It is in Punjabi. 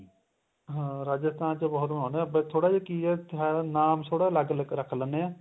ਹਾਂ ਰਾਜਸਥਾਨ ਚ ਬਹੁਤ ਮਨਾਂਉਂਦੇ ਏ ਥੋੜਾ ਜਾ ਕੀ ਏ ਨਾਮ ਥੋੜਾ ਜਾ ਅਲੱਗ ਰੱਖ ਲੈਨੇ ਆ